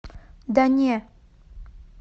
да не